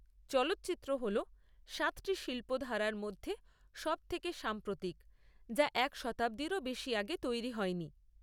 চলচ্চিত্র হল সাতটি শিল্প ধারার মধ্যে সবথেকে সাম্প্রতিক, যা এক শতাব্দীরও বেশি আগে তৈরি হয়নি।